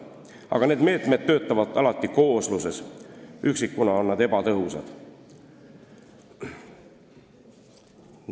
Aga need meetmed töötavad alati koosluses, üksikuna on nad ebatõhusad.